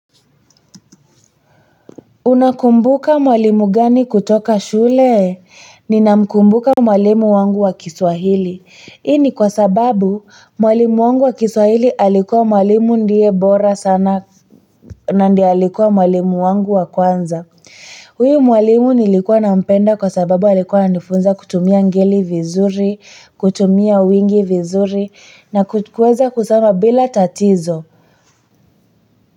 Unakumbuka mwalimu gani kutoka shule? Ninamkumbuka mwalimu wangu wa Kiswahili. Hii ni kwa sababu mwalimu wangu wa Kiswahili alikuwa mwalimu ndiye bora sana na ndio alikuwa mwalimu wangu wa kwanza. Huyu mwalimu nilikuwa nampenda kwa sababu alikuwa ananifunza kutumia ngeli vizuri, kutumia wingi vizuri na kuweza kusoma bila tatizo.